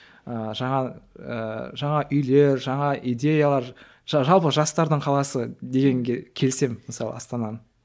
ыыы жаңа ыыы жаңа үйлер жаңа идеялар жалпы жастардың қаласы дегенге келісемін мысалы астананы